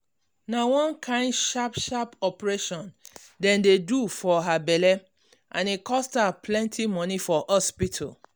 na one kain sharp sharp operation dem do for her belle um and e cost her plenty money for hospital